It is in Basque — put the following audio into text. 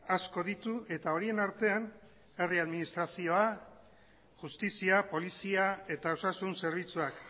asko ditu eta horien artean herri administrazioa justizia polizia eta osasun zerbitzuak